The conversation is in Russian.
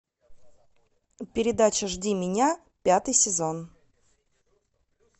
передача жди меня пятый сезон